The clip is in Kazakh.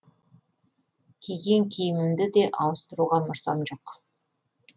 киген киімімді де ауыстыруға мұрсам жоқ